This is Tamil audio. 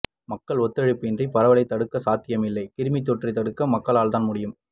மக்கள் ஒத்துழைப்பின்றி பரவலைத் தடுப்பது சாத்தியமில்லை கிருமித்தொற்றை தடுக்க மக்களால்தான் முடியும்